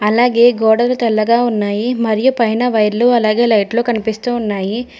అలాగే గోడలు తెల్లగా ఉన్నాయి మరియు పైన వైర్లు అలాగే లైట్లు కనిపిస్తూ ఉన్నాయి.